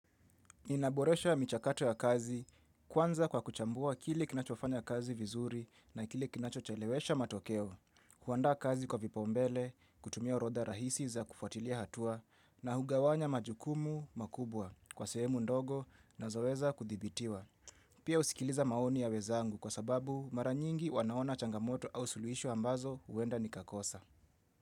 Inaboresha michakato ya kazi, kwanza kwa kuchambua kile kinachofanya kazi vizuri na kile kinachochelewesha matokeo, huandaa kazi kwa vipaumbele, kutumia oirodha rahisi za kufuatilia hatua, na hugawanya majukumu makubwa kwa sehemu ndogo nazoweza kudhibitiwa. Pia husikiliza maoni ya wezangu kwa sababu maranyingi wanaona changamoto au suluhisho ambazo huenda ni kakosa.